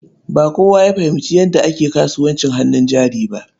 Ba kowa ya fahimci yadda ake kasuwancin hannun jari ba.